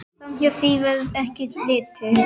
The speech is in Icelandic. Framhjá því verður ekki litið.